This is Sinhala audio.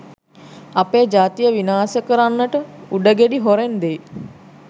අපේ ජාතිය විනාස කරන්නට උඩගෙඩි හොරෙන් දෙයි